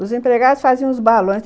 Os empregados faziam os balões.